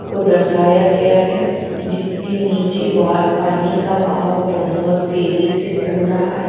को दर्शाया गया है जिसके नीचे वा पानी का बहाव बहोत तेजी से चल रहा है।